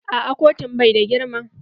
Aa kotun bai da girma.